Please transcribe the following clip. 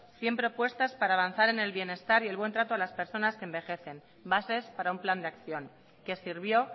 cien propuestas para avanzar en el bienestar y el buen trato a las personas que envejecen bases para un plan de acción que sirvió